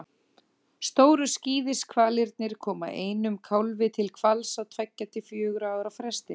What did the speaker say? Stóru skíðishvalirnir koma einum kálfi til hvals á tveggja til fjögurra ára fresti.